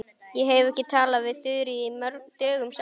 Ég hef ekki talað við Þuríði dögum saman.